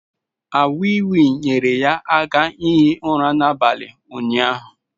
A wii wii nyere ya aka hie ụra n’abalị ụnyahụ